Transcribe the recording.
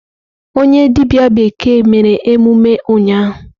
Onye dibia bekee mere emume ụnyahụ.